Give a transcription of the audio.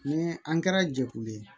Ni an kɛra jɛkulu ye